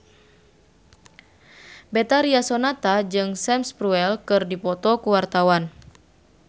Betharia Sonata jeung Sam Spruell keur dipoto ku wartawan